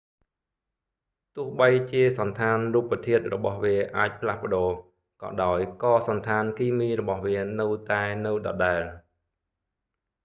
ទោះបីជាសណ្ឋានរូបធាតុរបស់វាអាចផ្លាស់ប្តូរ ក៏ដោយក៏សណ្ឋានគីមីរបស់វានៅតែនៅដដែល